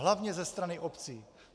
Hlavně ze strany obcí.